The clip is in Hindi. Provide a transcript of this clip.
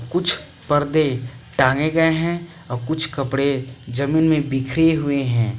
कुछ परदे टांगे गए हैं और कुछ कपड़े जमीन में बिखरे हुए हैं।